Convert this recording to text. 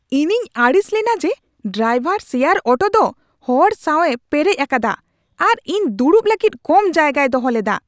ᱤᱧᱤᱧ ᱟᱹᱲᱤᱥ ᱞᱮᱱᱟ ᱡᱮ ᱰᱨᱟᱭᱵᱷᱟᱨ ᱥᱮᱭᱟᱨ ᱚᱴᱳ ᱫᱚ ᱦᱚᱲ ᱥᱟᱶᱮ ᱯᱮᱨᱮᱡ ᱟᱠᱟᱫᱟ ᱟᱨ ᱤᱧ ᱫᱩᱲᱩᱵ ᱞᱟᱹᱜᱤᱫ ᱠᱚᱢ ᱡᱟᱭᱜᱟᱭ ᱫᱚᱦᱚ ᱞᱮᱫᱟ ᱾